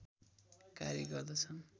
कार्य गर्दछन्।